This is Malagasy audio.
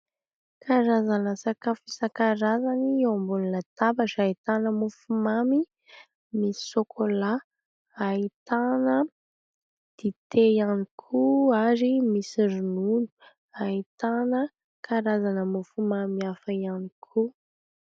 Karazana sakafo isan-karazany eo ambony labatra ahitana mofomamy misy sokolà, ahitana dite ihany koa ary misy ronono. Ahitana karazana mofomamy hafa ihany koa.